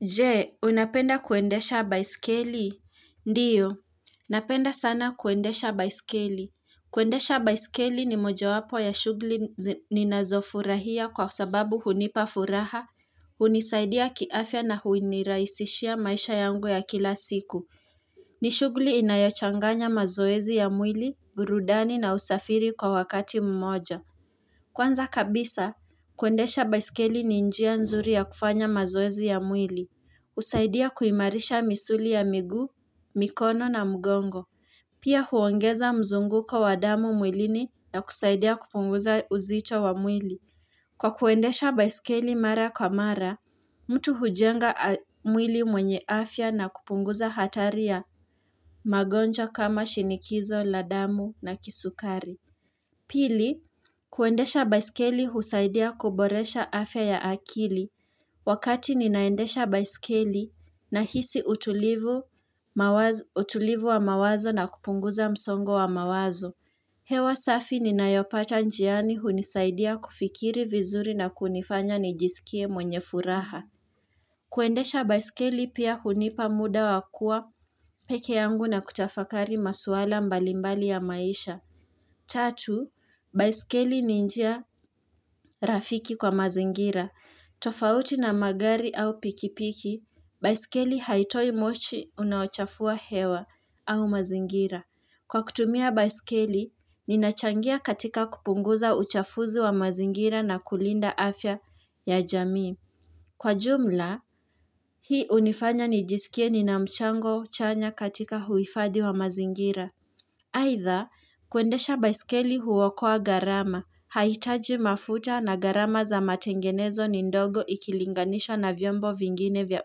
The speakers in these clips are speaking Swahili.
Je, unapenda kuendesha baisikeli? Ndiyo, napenda sana kuendesha baisikeli. Kuendesha baisikeli ni moja wapo ya shughuli ninazofurahia kwa sababu hunipafuraha, hunisaidia kiafya na hunirahisishia maisha yangu ya kila siku. Ni shughuli inayochanganya mazoezi ya mwili, burudani na usafiri kwa wakati mmoja. Kwanza kabisa, kuendesha baisikeli ni njia nzuri ya kufanya mazoezi ya mwili. Usaidia kuimarisha misuli ya miguu, mikono na mgongo Pia huongeza mzunguko wa damu mwilini na kusaidia kupunguza unzito wa mwili Kwa kuendesha baisikeli mara kwa mara, mtu hujenga mwili mwenye afya na kupunguza hataria magonja kama shinikizo la damu na kisukari Pili, kuendesha baisikeli husaidia kuboresha afya ya akili Wakati ninaendesha baisikeli na hisi utulivu wa mawazo na kupunguza msongo wa mawazo. Hewa safi nina yopata njiani hunisaidia kufikiri vizuri na kunifanya nijisikie mwenye furaha. Kuendesha baisikeli pia hunipa muda wakua peke yangu na kutafakari masuala mbalimbali ya maisha. Tatu, baisikeli ni njia rafiki kwa mazingira. Tofauti na magari au pikipiki, baisikeli haitoi moshi unaochafua hewa au mazingira. Kwa kutumia baisikeli, ninachangia katika kupunguza uchafuzi wa mazingira na kulinda afya ya jamii. Kwa jumla, hii unifanya nijisikie ni na mchango chanya katika huifadhi wa mazingira. Haitha, kuendesha baisikeli huwakoa gharama, haitaji mafuta na gharama za matengenezo ni ndogo ikilinganisho na vyombo vingine vya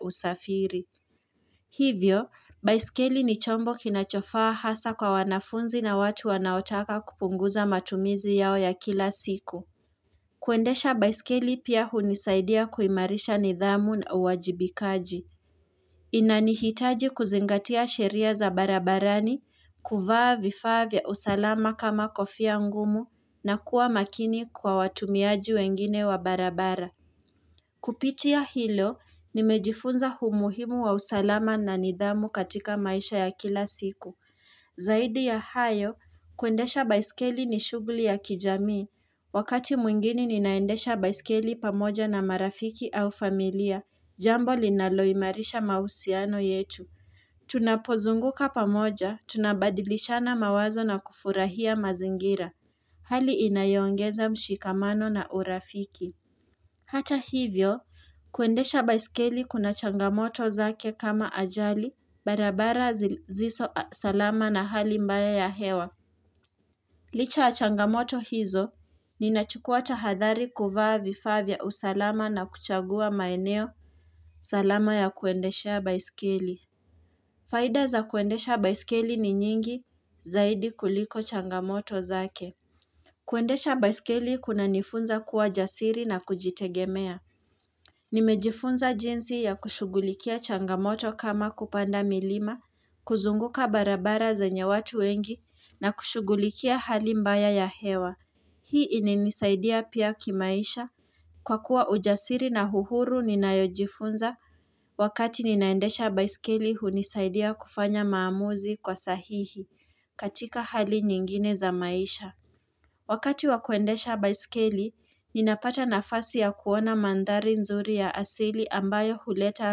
usafiri. Hivyo, baisikeli ni chombo kinachofaa hasa kwa wanafunzi na watu wanaotaka kupunguza matumizi yao ya kila siku. Kuendesha baisikeli pia hunisaidia kuimarisha nidhamu na uwajibikaji. Inanihitaji kuzingatia sheria za barabarani, kuvaa vifavya usalama kama kofia ngumu na kuwa makini kwa watumiaji wengine wa barabara. Kupitia hilo, nimejifunza umuhimu wa usalama na nidhamu katika maisha ya kila siku. Zaidi ya hayo, kuendesha baiskeli ni shughuli ya kijamii. Wakati mwingine ninaendesha baiskeli pamoja na marafiki au familia. Jambo linaloimarisha mahusiano yetu. Tunapozunguka pamoja, tunabadilishana mawazo na kufurahia mazingira. Hali inayongeza mshikamano na urafiki. Hata hivyo, kuendesha baiskeli kuna changamoto zake kama ajali, barabara sizizo salama na hali mbaya ya hewa. Licha changamoto hizo, ninachukua tahadhari kuvaa vifavya usalama na kuchagua maeneo salama ya kuendesha baiskeli. Faida za kuendesha baiskeli ni nyingi zaidi kuliko changamoto zake. Kuendesha baiskeli kuna nifunza kuwa jasiri na kujitegemea. Nimejifunza jinsi ya kushugulikia changamoto kama kupanda milima, kuzunguka barabara zenye watu wengi na kushughulikia hali mbaya ya hewa. Hii inanisaidia pia kimaisha. Kwa kuwa ujasiri na uhuru ninayojifunza wakati ninaendesha baisikeli hunisaidia kufanya maamuzi kwa sahihi katika hali nyingine za maisha. Wakati wakuendesha baisikeli, ninapata nafasi ya kuona mandhari nzuri ya asili ambayo huleta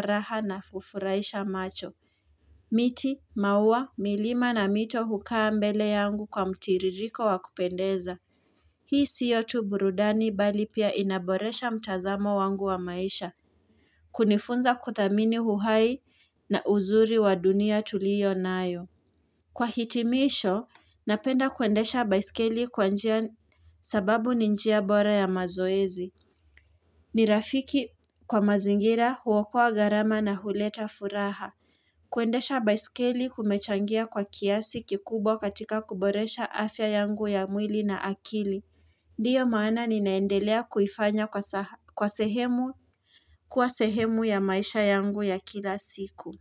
raha na ufuraisha macho. Miti, mauwa, milima na mito hukaa mbele yangu kwa mtiririko wakupendeza. Hii siyo tu burudani bali pia inaboresha mtazamo wangu wa maisha. Kunifunza kudhamini uhai na uzuri wa dunia tulio nayo. Kwa hitimisho, napenda kuendesha baiskeli kwa njia sababu ni njia bora ya mazoezi. Ni rafiki kwa mazingira huokua gharama na huleta furaha. Kuendesha baiskeli kumechangia kwa kiasi kikubwa katika kuboresha afya yangu ya mwili na akili. Ndiyo maana ninaendelea kufanya kwa sehemu ya maisha yangu ya kila siku.